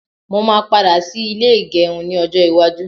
Mó máa padà ṣí ilé ìgẹrun ni ọjọ́ iwájú